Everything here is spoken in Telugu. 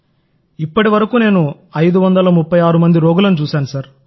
నేను ఇప్పటివరకు 536 మంది రోగులను చూశాను